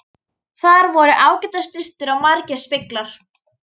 Þar voru ágætar sturtur og margir speglar!